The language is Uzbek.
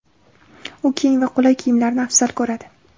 U keng va qulay kiyimlarni afzal ko‘radi.